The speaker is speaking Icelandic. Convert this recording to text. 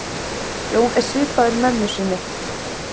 Jón er svipaður mömmu sinni.